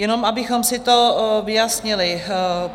Jen abychom si to vyjasnili.